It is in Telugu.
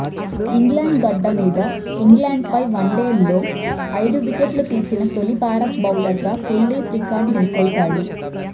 ఇంగ్లాండ్ గడ్డ మీద ఇంగ్లాండ్పై వన్డేల్లో ఐదు వికెట్లు తీసిన తొలి భారత బౌలర్గా కుల్దీప్ రికార్డు నెలకొల్పాడు